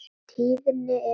Tíðni og erfðir